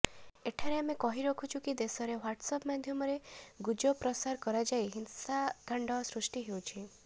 ଏଠାରେ ଆମେ କହି ରଖୁଛୁ କି ଦେଶରେ ହ୍ବାଟ୍ସଆପ ମାଧ୍ୟମରେ ଗୁଜର ପ୍ରସାର କରାଯାଇ ହିଂସାକାଣ୍ଡ ସୃଷ୍ଟି ହେଉଛି